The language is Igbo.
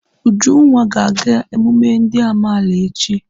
Ujunwa ga-aga emume ndị amaala echi..